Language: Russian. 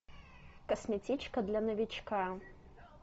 косметичка для новичка